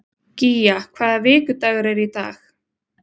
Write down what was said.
Gía, hvaða vikudagur er í dag?